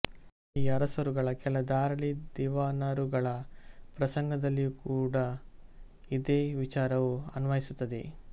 ಈ ಅರಸರುಗಳ ಕೆಲ ಧಾರಾಳಿ ದಿವಾನರುಗಳ ಪ್ರಸಂಗದಲ್ಲಿಯೂ ಕೂಡಾ ಇದೇ ವಿಚಾರವು ಅನ್ವಯಿಸುತ್ತದೆ